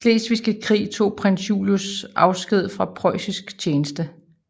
Slesvigske Krig tog prins Julius afsked fra preussisk tjeneste